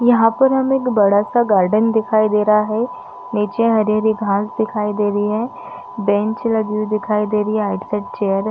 यहाँ पर हमें एक बड़ा सा गार्डन दिखाई दे रहा है निचे हरी - हरी घास दिखाई दे रही है बेंच लगी हुई दिखाई दे रही है आर्टिकल चेयर --